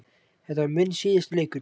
Þetta var minn síðasti leikur.